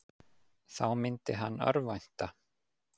Þá myndi hann örvænta.